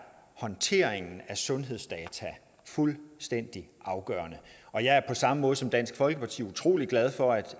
håndteringen af sundhedsdata fuldstændig afgørende på samme måde som dansk folkeparti utrolig glad for at